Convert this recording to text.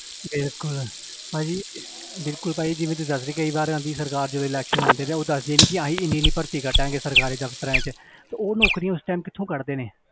ਬਿਲਕੁਲ ਭਾਜੀ ਬਿਲਕੁਲ ਭਾਜੀ ਜਿਵੇਂ ਤੁਸੀਂ ਦੱਸ ਰਹੇ ਕਈ ਵਾਰ ਆਉਂਦੀ ਸਰਕਾਰ ਜਦੋਂ election ਆਉਂਦੇ ਨੇ ਉਦੋਂ ਦੱਸਦੀ ਆ ਕਿ ਅਸੀਂ ਇੰਨੀ ਇੰਨੀ ਭਰਤੀ ਕੱਢਾਂਂਗੇ ਸਰਕਾਰੀ ਦਫ਼ਤਰਾਂ 'ਚ ਤੇ ਉਹ ਨੌਕਰੀਆਂ ਉਸ time ਕਿੱਥੋਂ ਕੱਢਦੇ ਨੇ,